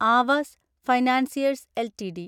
Aavas financiers LTD